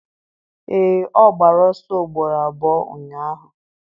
Ee, ọ gbara ọsọ ugboro abụọ ụnyahụ